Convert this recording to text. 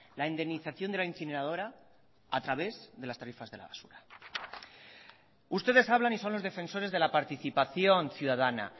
la indemnización de la incineradora a través de las tarifas de la basura ustedes hablan y son los defensores de la participación ciudadana